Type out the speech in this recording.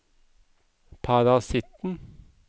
parasitten